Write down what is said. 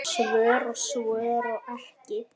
Svör og svör ekki.